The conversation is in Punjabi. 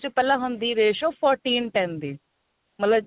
ਪਹਿਲਾਂ ਹੁੰਦੀ ratio fourteen ten ਦੀ ਮਤਲਬ